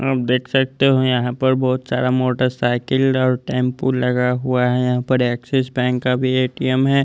आप देख सकते हो यहां पर बहोत सारा मोटरसाइकिल और टेंपो लगा हुआ है। यहां पर एक्सिस बैंक का भी ए_टी_एम है।